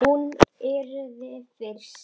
Hún yrði fyrst.